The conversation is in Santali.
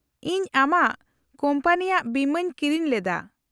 -ᱤᱧ ᱟᱢᱟᱜ ᱠᱳᱢᱯᱟᱱᱤᱭᱟᱜ ᱵᱤᱢᱟᱹᱧ ᱠᱤᱨᱤᱧ ᱞᱮᱫᱟ ᱾